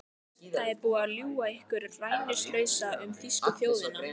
Það er búið að ljúga ykkur rænulausa um þýsku þjóðina.